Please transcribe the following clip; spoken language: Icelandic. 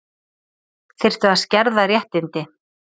Þyrftu að skerða réttindi